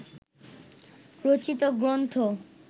রচিত গ্রন্থ